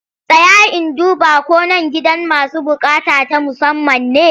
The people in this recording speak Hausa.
Tsaya in duba ko nan gidan masu buƙata ta musamman ne!